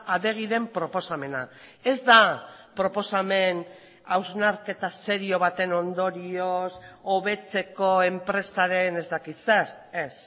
adegiren proposamena ez da proposamen hausnarketa serio baten ondorioz hobetzeko enpresaren ez dakit zer ez